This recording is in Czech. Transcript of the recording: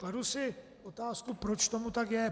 Kladu si otázku, proč tomu tak je.